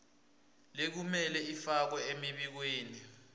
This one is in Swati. lekumele ifakwe emibikweni